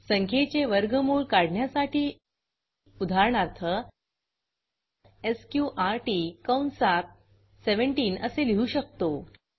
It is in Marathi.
संख्येचे वर्गमूळ काढण्यासाठी उदाहरणार्थ एसक्यूआरटी कंसात 17 असे लिहू शकतो